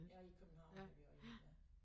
Ja i København har vi også én ja